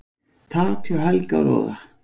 Tap hjá Helga og Loga